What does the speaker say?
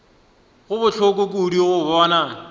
go bohloko kudu go bona